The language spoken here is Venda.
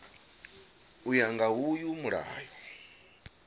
u ya nga uyu mulayo